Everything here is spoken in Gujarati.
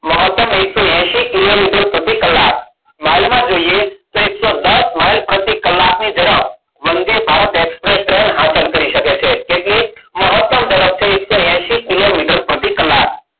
મહત્તમ એકસો એશિ કિલોમીટર પ્રતિ કલાક. માઈલમાં જોઈએ તો એકસો દસ માઇલ પ્રતિ કલાક ની ઝડપ વંદે ભારત એક્સપ્રેસ ટ્રેન હાંસિલ કરી શકે છે. એટલે કે મહત્તમ ઝડપ થઈ એકસો એશિ કિલોમીટર પ્રતિ કલાક.